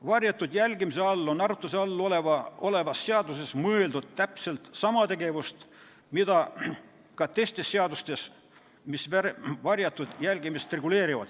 Varjatud jälgimise all on arutluse all olevas seaduses mõeldud täpselt sama tegevust, mida ka teistes seadustes, mis varjatud jälgimist reguleerivad.